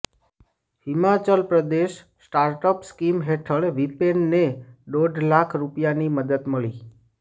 Himachal Pradesh startup scheme હેઠળ વિપેનને દોઢ લાખ રૂપિયાની મદદ મળી